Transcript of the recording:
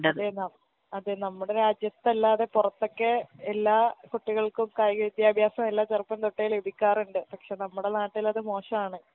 അതെ നം അതെ നമ്മുടെ രാജ്യത്തല്ലാതെ പൊറത്തൊക്കെ എല്ലാ കുട്ടികൾക്കും കായിക വിദ്യാഭ്യാസമെല്ലാ ചെറുപ്പം തൊട്ടേ ലഭിക്കാറ്ണ്ട് പക്ഷെ നമ്മടെ നാട്ടിലത് മോശാണ്